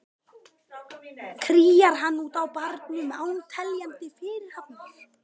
Kríar hann út á barnum án teljandi fyrirhafnar.